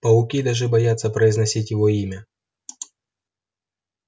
пауки даже боятся произносить его имя